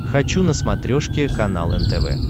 хочу на смотрешке канал нтв